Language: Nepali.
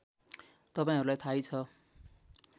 तपाईँहरूलाई थाहै छ